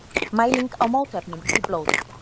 Mæling á mótefnum í blóði.